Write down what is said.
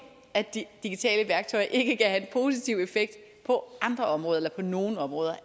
at de digitale værktøjer ikke kan have en positiv effekt på nogle områder